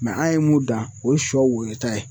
an' ye mun dan o ye sɔ woyota ye.